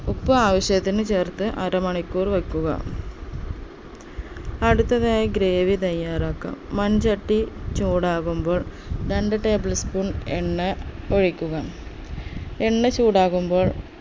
ഉപ്പ് ആവശ്യത്തിന് ചേർത്ത് അര മണിക്കൂർ വെക്കുക അടുത്തതായി gravy തയ്യാറാക്കാം മൺചട്ടി ചൂടാകുമ്പോൾ രണ്ട് tablespoon എണ്ണ ഒഴിക്കുക എണ്ണ ചൂടാകുമ്പോൾ